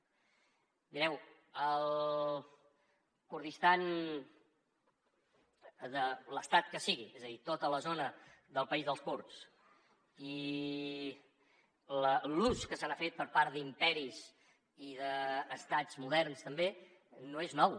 mireu el kurdistan de l’estat que sigui és a dir tota la zona del país dels kurds i l’ús que se n’ha fet per part d’imperis i d’estats moderns també no és nou